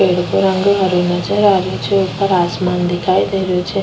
पेड़ को रंग हरो नजर आ रियो छे ऊपर आसमान दिखाई दे रियो छे।